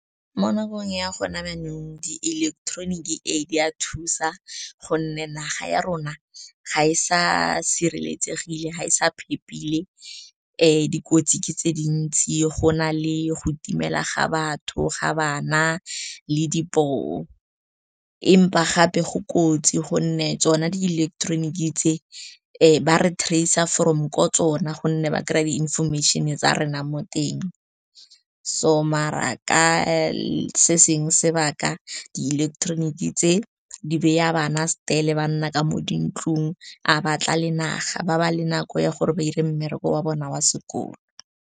Mo nakong ya go na jaanong di-electronic, ee, di a thusa gonne naga ya rona ga e sa sireletsegile, ga e sa phepegile, dikotsi ke tse dintsi, go na le go itimela ga batho, ga bana le di poo. Empa gape go kotsi gonne tsona di ileketeroniki tse ba re trace-a from kwa tsona gonne ba kry-a di-information-e tsa rena mo teng. So maar ka se seng sebaka di ileketeroniki tse di beya bana , ba nna ka mo dintlong, a ba tla le naga, ba ba le nako ya gore ba dire mmereko wa bona wa sekolo.